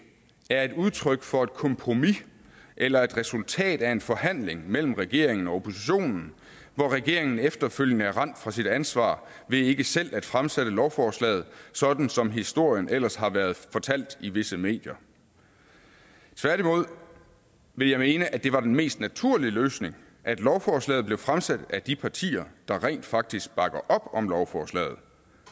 er et udtryk for et kompromis eller et resultat af en forhandling mellem regeringen og oppositionen hvor regeringen efterfølgende er rendt fra sit ansvar ved ikke selv at fremsætte lovforslaget sådan som historien ellers har været fortalt i visse medier tværtimod vil jeg mene at det var den mest naturlige løsning at lovforslaget blev fremsat af de partier der rent faktisk bakker op om lovforslaget